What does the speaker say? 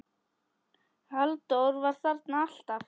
Halldór var þarna alltaf.